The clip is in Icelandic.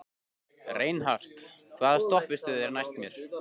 Reinhart, hvaða stoppistöð er næst mér?